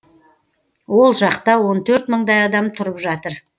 ол жақта он төрт мыңдай адам тұрып жатыр